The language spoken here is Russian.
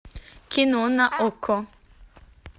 кино на окко